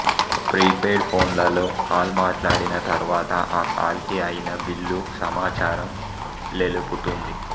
prepaid పొన్లలొ call మాట్లాడిన తరువాత ఆ కాల్ కి అయిన బిల్లు సమాచారం లెలుపుతుంది